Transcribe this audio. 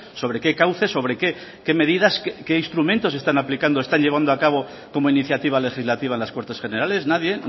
sobre qué cauces sobre qué medidas qué instrumentos están aplicando están llevando a cabo como iniciativa legislativa en las cortes generales nadie